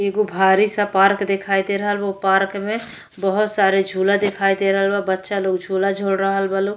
एगो भारी सा पार्क देखाई दे रहल बा। ओ पार्क में बोहोत सारे झूला देखाई दे रहल बा। बच्चा लोग झूला झूल रहल बा लो।